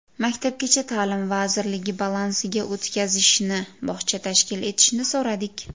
Maktabgacha ta’lim vazirligi balansiga o‘tkazishni, bog‘cha tashkil etishni so‘radik.